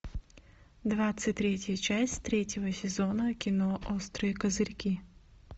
двадцать третья часть третьего сезона кино острые козырьки